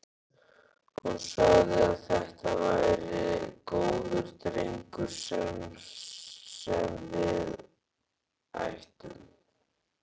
Hún sagði að þetta væri góður drengur sem við ættum.